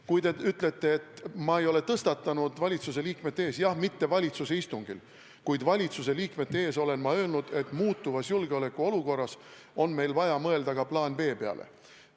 Kui te ütlete, et ma ei ole tõstatanud seda teemat valitsuse liikmete seas, siis jah, valitsuse istungil ma ei ole sellest rääkinud, kuid valitsuse liikmete ees olen ma öelnud, et muutuvas julgeolekuolukorras on meil vaja mõelda ka plaani B peale.